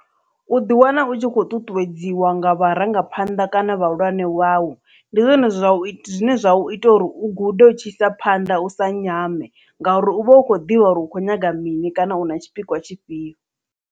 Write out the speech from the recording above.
U ḓi wana u tshi khou ṱuṱuwedziwa nga vharangaphanḓa kana vhahulwane vhau ndi zwone zwine zwa ita uri u gude u tshi isa phanḓa u sa nyame ngauri u vha u khou ḓivha uri u khou nyaga mini kana u na tshipikwa tshifhio.